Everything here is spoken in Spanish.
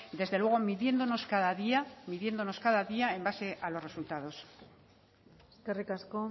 desde luego midiéndonos cada día en base a los resultados eskerrik asko